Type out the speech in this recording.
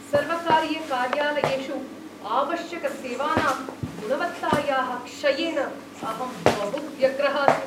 सर्वकारीयकार्यालयेषु आवश्यकसेवानां गुणवत्तायाः क्षयेन अहं बहु व्यग्रः अस्मि।